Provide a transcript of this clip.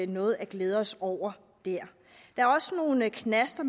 noget at glæde os over der er også nogle knaster